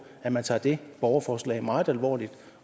at man tager det borgerforslag meget alvorligt